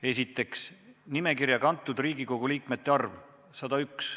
Esiteks, nimekirja kantud liikmete arv – 101.